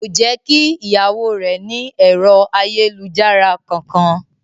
Kò jẹ́ kí ìyàwó rẹ̀ ní ẹ̀rọ ayélujára kankan.